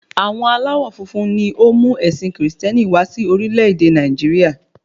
Àwọn aláwọ̀ funfun ni ó mú ẹ̀sìn kìrìsìtẹ́nì wá sí orílẹ̀-èdè Nàìjíríà